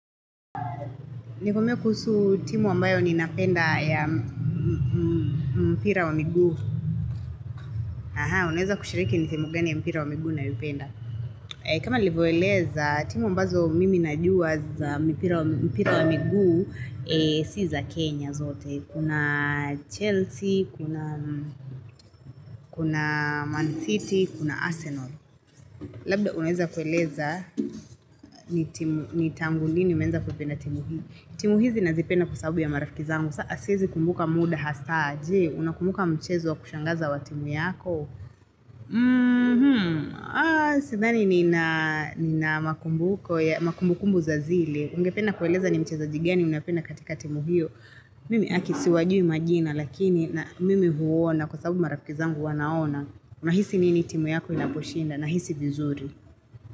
Ni kwambie kuhusu timu ambayo ni napenda ya mpira wa miguu. Unaweza kushiriki ni timu gani ya mpira wa miguu nayopenda. Kama nilivyoeleza, timu ambazo mimi najua za mpira wa miguu si za Kenya zote. Kuna Chelsea, kuna Man City, kuna Arsenal. Labda unaweza kueleza ni tangu lini umeanza kuipenda timu hii. Timu hizi nazipenda kwa sababu ya marafiki zangu. Siezi kumbuka muda hasaa je, unakumbuka mchezo wa kushangaza wa timu yako. Sidhani ni na makumbuko, makumbukumbu za zile. Ungependa kueleza ni mchezaji gani, unapenda katika timu hiyo. Mimi aki siwajui majina, lakini na mimi huona kwa sababu marafiki zangu wanaona. Unahisi nini timu yako inaposhinda, nahisi vizuri.